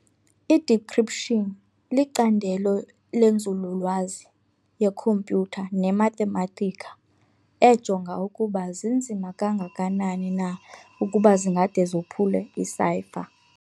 I-Decryption licandelo lenzululwazi yekhompyutha ne-mathematika ejonga ukuba zinzima kangakanani na ukuba zingade zophule i-cypher.